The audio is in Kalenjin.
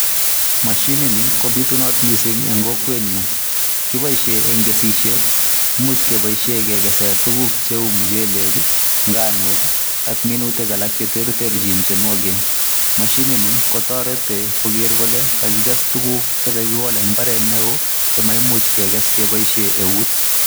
Mashinit ni ko bitunat missing en kokwet nyuun kiboisien en kesisiet imuche kebaishen kegesen tuguk che uu nganook ii ako minutik alaak che ter terjiin mashinit ni ko taretii Kroger kole kagikes tuguk che kakolaak en mbaret ne wooh chemaimuuch keges kebaishen euut.